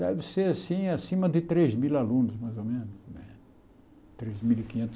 Deve ser assim acima de três mil alunos, mais ou menos. Três mil e quinhetos